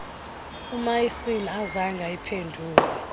umaison azange ayiphendule